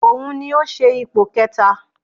Òun ni ó ṣe ipò kẹta